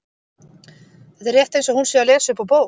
Þetta er rétt eins og hún sé að lesa upp úr bók.